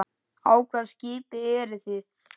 Á hvaða skipi eru þið?